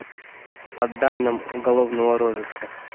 по данным уголовного розыска